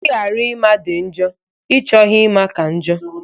Ịghara ịma dị njọ; ịchọghị ịma ka njọ